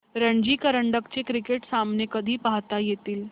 रणजी करंडक चे क्रिकेट सामने कधी पाहता येतील